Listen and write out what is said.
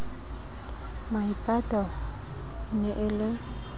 maipato e ne e le